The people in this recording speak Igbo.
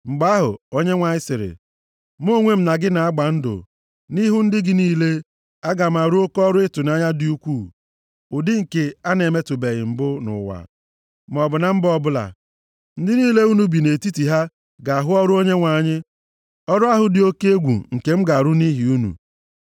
Mgbe ahụ, Onyenwe anyị sịrị, “Mụ onwe m na gị na-agba ndụ. Nʼihu ndị gị niile, aga m arụ oke ọrụ ịtụnanya dị ukwu, ụdị nke a na-emetụbeghị mbụ nʼụwa, maọbụ na mba ọ bụla. Ndị niile unu bi nʼetiti ha ga-ahụ ọrụ Onyenwe anyị. Ọrụ ahụ dị oke egwu nke m ga-arụ nʼihi unu.